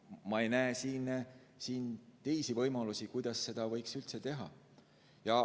Ma ei näe siin teisi võimalusi, kuidas seda võiks üldse teha.